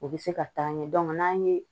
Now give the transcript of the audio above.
U bɛ se ka taa ɲɛ dɔn n'an ye